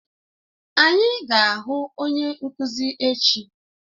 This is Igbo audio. Anyị ga-ahụ onye nkuzi echi.